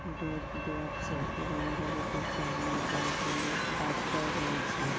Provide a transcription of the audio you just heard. দুধ দোয়াচ্ছে এবং গরুটির সামনে গরুটি-ইর বাচ্চাও রয়েছে ।